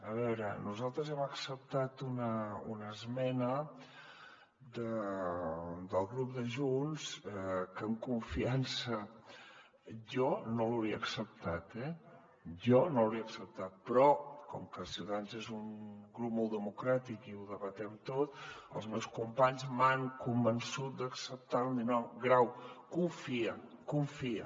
a veure nosaltres hem acceptat una esmena del grup de junts que amb confiança jo no l’hauria acceptat eh jo no l’hauria acceptat però com que ciutadans és un grup molt democràtic i ho debatem tot els meus companys m’han convençut d’acceptar la dient grau confia confia